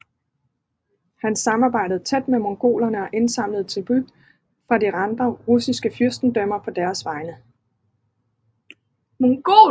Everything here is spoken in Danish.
Han samarbejdede tæt med mongolerne og indsamlede tribut fra de andre russiske fyrstendømmer på deres vegne